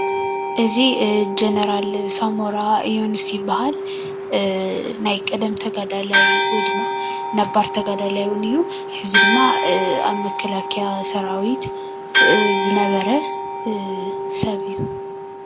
እዚ ጀነራል ሳሞራ የኑስ ይብሃል፤ ናይ ቀደም ተጋዳላይ ወይ ድማ ነባር ተጋዳላይ እዉን እዩ ሕዚ ድማ ኣብ መከላከያ ሰራዊት ዝነበረ ሰብ እዩ።